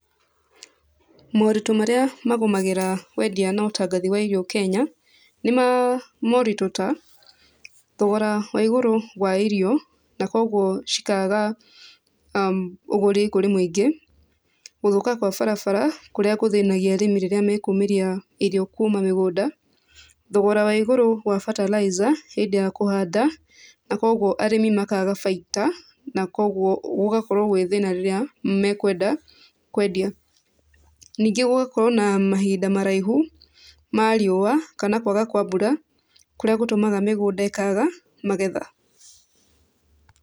Mũrito marĩa magũmagĩra wendia na ũtangathi wa irio Kenya, nĩ mũrito, nĩ mũrito ta thogora wa igũrũ wa irio nakogwo cikaga ũgũri kũrĩ mwingĩ. Gũthũka gawa barabara kũrĩa gũthĩnagia arĩmi rĩrĩa mekũmeria irio kũma mĩgũnda. Thogora wa igũrũ wa bataraitha hĩndĩ ya kũhanda na kogwo arĩmi makaga bainda na kogwo gũgakorwo gwet hĩna rĩrĩa mekwenda kwendia. Ningĩ gũgakorwo na mahinda maraihũ ma riũa kana kwaga kwa mbura kũrĩa gũtũmaga mĩgũnda ĩkwaga magetha.